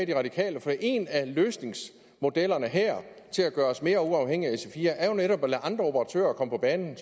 de radikale for en af løsningsmodellerne her i til at gøre os mere uafhængige af ic4 er jo netop at lade andre operatører komme på banen